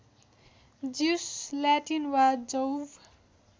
जिउस Latin वा जौव